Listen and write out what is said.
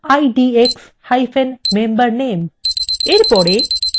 এর পরে জানা যাক একটি table filter কি